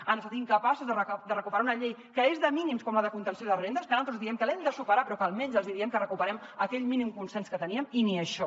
han estat incapaços de recuperar una llei que és de mínims com la de contenció de rendes que naltros diem que l’hem de superar però que almenys els hi diem que recuperem aquell mínim consens que teníem i ni això